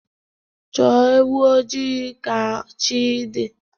Chọọ ewu ojii ka chi dị